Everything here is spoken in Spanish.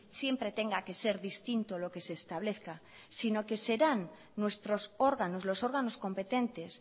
siempre tenga que ser distinto lo que se establezca sino que serán nuestros órganos los órganos competentes